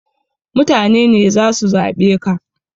Mutane ne zasu zaɓe ka